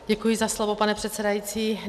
Děkuji za slovo, pane předsedající.